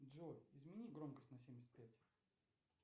джой измени громкость на семьдесят пять